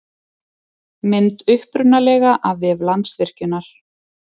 Mynd upprunalega af vef Landsvirkjunar.